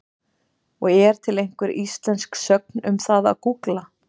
Og er til einhver íslensk sögn um það að gúgla?